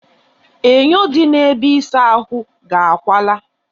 Enyo dị na ebe ịsa ahụ ga awaala